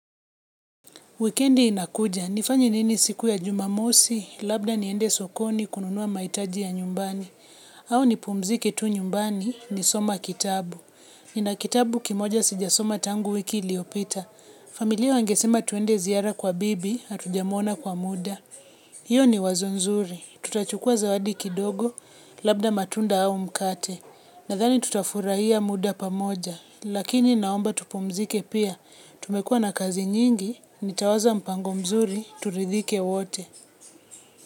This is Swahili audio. Wikendi inakuja, nifanye nini siku ya jumamosi, labda niende sokoni kununua mahitaji ya nyumbani. Au nipumzike tu nyumbani, nikisoma kitabu. Nina kitabu kimoja sijasoma tangu wiki iliopita. Familia wangesema tuende ziara kwa bibi, atujamona kwa muda. Hiyo ni wazo nzuri. Tutachukua zawadi kidogo, labda matunda au mkate. Nathani tutafurahia muda pamoja. Lakini naomba tupumzike pia, tumekuwa na kazi nyingi, nitawaza mpango mzuri, turithike wote.